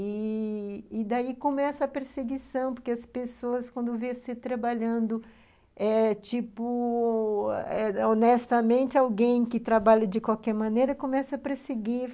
E... e daí começa a perseguição, porque as pessoas, quando veem você trabalhando eh, honestamente, alguém que trabalha de qualquer maneira começa a perseguir.